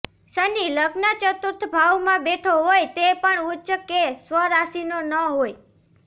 શનિ લગ્ન ચતુર્થ ભાવમાં બેઠો હોય તે પણ ઉચ્ચ કે સ્વરાશિનો ન હોય